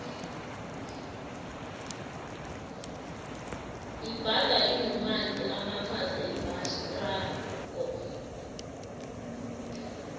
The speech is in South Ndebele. ibhanda inomanzi amakhaza ivatjhsrako